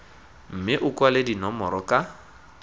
mme o kwale dinomoro ka